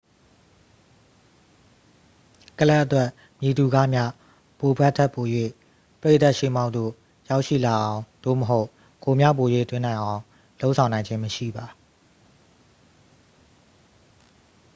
ကလပ်အတွက် မည်သူကမျှ ဘိုဘက်ခ် ထက်ပို၍ ပရိသတ်ရှေ့မှောက်သို့ ရောက်ရှိလာအောင် သို့မဟုတ် ဂိုးများပို၍သွင်းနိုင်အောင် လုပ်ဆောင်နိုင်ခြင်းမရှိပါ